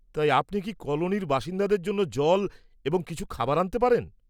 তাই, আপনি কি কলোনির বাসিন্দাদের জন্য জল এবং কিছু খাবার আনতে পারবেন?